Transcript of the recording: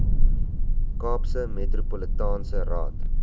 kaapse metropolitaanse raad